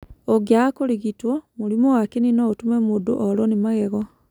ũngĩaga kũrigitwo, mũrimũ wa kĩni no ũtũme mũndũ orũo nĩ magego.